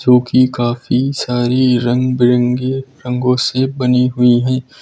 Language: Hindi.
जोकि काफी सारी रंग बिरंगी रंगों से बनी हुई हैं।